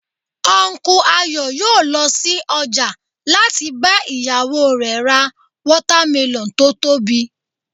Unku Ayo yòó lọ sí ọjà láti bá ìyàwó rẹ̀ ra watermelon tó tóbi